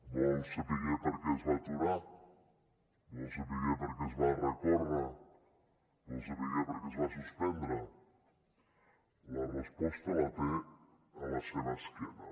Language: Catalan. vol saber per què es va aturar vol saber per què es va recórrer vol saber per què es va suspendre la resposta la té a la seva esquena